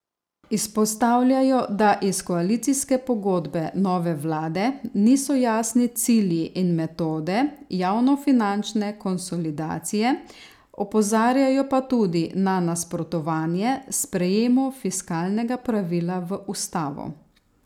Izpostavljajo, da iz koalicijske pogodbe nove vlade niso jasni cilji in metode javnofinančne konsolidacije, opozarjajo pa tudi na nasprotovanje sprejemu fiskalnega pravila v ustavo.